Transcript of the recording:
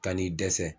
Kan'i dɛsɛ